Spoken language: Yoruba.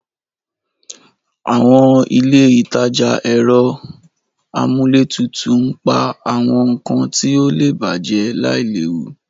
Àwọn ilé ìtajà ẹ̀rọ amúlétutù ń pa àwọn nkan tí ó lè bàjẹ́ láìléwu.